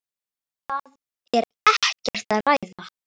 Það er ekkert að ræða.